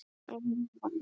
Og hún vann.